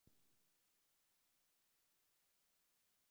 Þeir sem hafa fengið gubbupest kannast líklega við þessa stellingu!